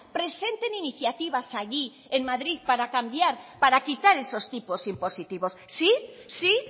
presenten iniciativas allí en madrid para cambiar para quitar esos tipos impositivos sí sí